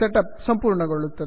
set up ಸಂಪೂರ್ಣಗೊಳ್ಳುತ್ತದೆ